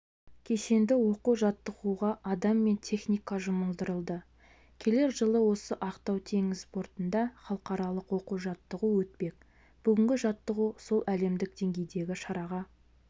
кешенді оқу-жаттығуға адам мен техника жұмылдырылды келер жылы осы ақтау теңіз портында халықаралық оқу-жаттығу өтпек бүгінгі жаттығу сол әлемдік деңгейдегі шараға